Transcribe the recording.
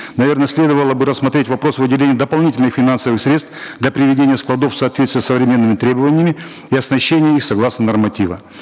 наверно следовало бы рассмотреть вопрос выделения дополнительных финансовых средств для приведения складов в соответствии с современными требованиями и оснащением их согласно норматива